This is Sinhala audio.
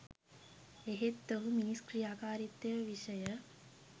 එහෙත් ඔහු මිනිස් ක්‍රියාකාරීත්වය විෂය